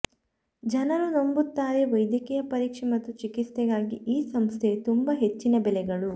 ಜನರು ನಂಬುತ್ತಾರೆ ವೈದ್ಯಕೀಯ ಪರೀಕ್ಷೆ ಮತ್ತು ಚಿಕಿತ್ಸೆಗಾಗಿ ಈ ಸಂಸ್ಥೆಯು ತುಂಬಾ ಹೆಚ್ಚಿನ ಬೆಲೆಗಳು